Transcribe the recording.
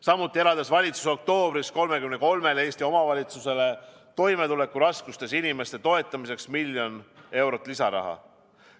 Samuti eraldas valitsus oktoobris 33-le Eesti omavalitsusele toimetulekuraskustes inimeste toetamiseks miljon eurot lisaraha.